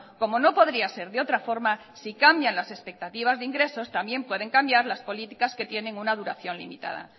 como no podría ser de otra forma si cambian las expectativas de ingresos también pueden cambiar las políticas que tienen una duración limitada